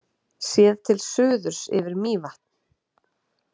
Séð til suðurs yfir Mývatn.